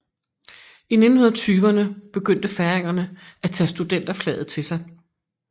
I 1920erne begyndte færingerne at tage studenterflaget til sig